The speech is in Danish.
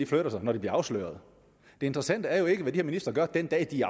flytter sig når de bliver afsløret det interessante er jo ikke hvad de her ministre gør den dag de